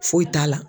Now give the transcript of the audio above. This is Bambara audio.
Foyi t'a la